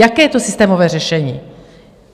Jaké je to systémové řešení?